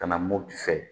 Ka na mopti fɛ